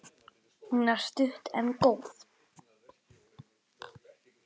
Hún er stutt en góð.